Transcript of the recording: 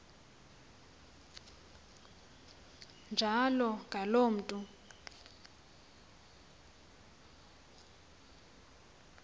njalo ngaloo mntu